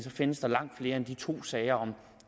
findes langt flere end de to sager